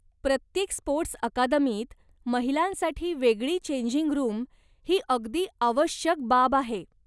प्रत्येक स्पोर्टस् अकादमीत महिलांसाठी वेगळी चेंजिंग रूम ही अगदी आवश्यक बाब आहे.